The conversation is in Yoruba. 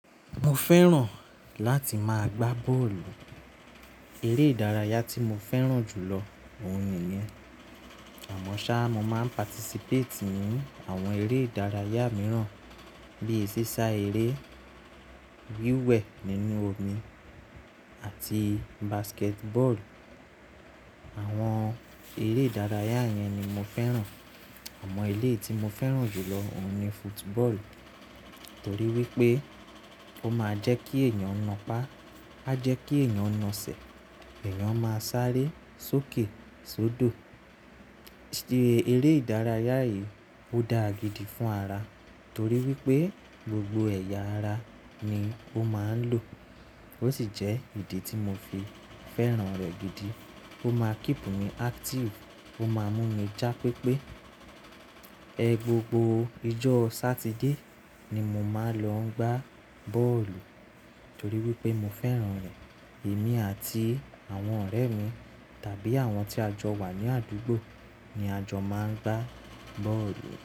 Mo fẹ́ràn láti máa gbá bọ́ọ̀lù. Eré ìdárayá tí mo fẹ́ràn jù lọ òun niyen. Àmọ́ ṣá, mo máa ń participate ní àwọn eré ìdárayá mìíràn bíi sísá eré, wíwẹ̀ nínú omi àti basketball. Àwọn eré ìdárayá yẹn ni mo fẹ́ràn. Àmọ́ iléyi tí mo fẹ́ràn jù lọ òun ni football, torí wípé ó máa ń jẹ́ kí èèyàn na pá, a jẹ́ kí èèyàn na ṣẹ, èèyàn máa sáré sókè sódò. Eré ìdárayá yìí ó dá gidi fún ara torí wípé gbogbo ẹ̀yà ara ni ó máa ń lò. Ó sì jẹ́ ìdí tí mo fi fẹ́ràn rẹ̀ gidi. Ó máa keep mi active, ó máa mú mi já pépé. Gbogbo ijọ́ Saturday ni mo máa ń lọ gbá bọ́ọ̀lù torí wípé mo fẹ́ràn rẹ̀. Èmi àti àwọn ọ̀rẹ́ mi tàbí àwọn tí a jọ wà ní àdúgbò ni a jọ máa ń gbá bọ́ọ̀lù.